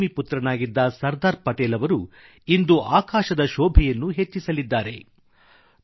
ಭೂಮಿ ಪುತ್ರನಾಗಿದ್ದ ಸರ್ದಾರ್ ಪಟೇಲ್ ಅವರು ಇಂದು ಆಕಾಶದ ಶೋಭೆಯನ್ನೂ ಹೆಚ್ಚಿಸಲಿದ್ದಾರೆ